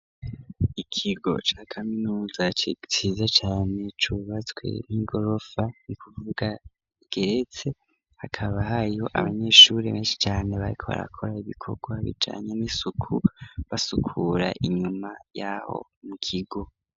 Ikigo ca kaminuza ciza cane ,cubatswe n'igorofa ni kuvuga igeretse ,hakaba hariho abanyeshuri benshi cane bariko barakora ibikorwa bijanye n’isuku ,basukura inyuma y'aho mu kigo.